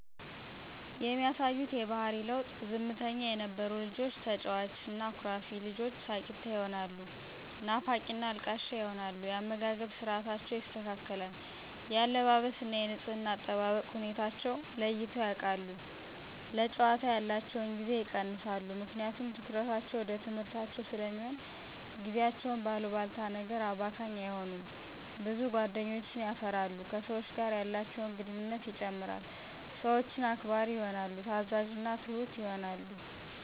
የሚያሳዩት የባሕሪ ለዉጥ፦ ዝምተኛ የነበሩ ልጆች ተጫዋች እና አኩራፊ ልጆች ሳቂታ ይሆናሉ ናፋቂና አልቃሻ ይሆናሉ። የአመጋገብ ስርዓታቸው ይስተካከል፣ የአለባበስ እና የንጽሕና አጠባበቅ ሁኔታወችን ለይተዉ ያቃሉ፣ ለጫወታ ያላቸዉን ጊዜ ይቀንሳሉ ምክንያቱም ትኩረታቸዉ ወደ ትምሕርታቸዉ ስለሚሆን፣ ጊዜያቸዉን በአሉባልታ ነገር አባካኝ አይሆኑም፣ ብዙ ጓደኞችን የፈራሉ፣ ከሰወች ጋር ያላቸውን ግንኙነት ይጨምራል፣ ሰወችን አክባሪ ይሆናሉ፣ ታዛዥና ትሁት ይሆናሉ።